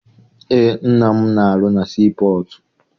Eé, nna m na- arụ na sii pọtụ.